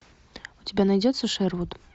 у тебя найдется шервуд